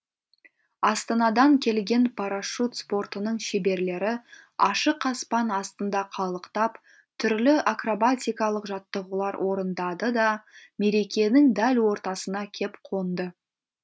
астанадан келген парашют спортының шеберлері ашық аспан астында қалықтап түрлі акробатикалық жаттығулар орындады да мерекенің дәл ортасына кеп қонды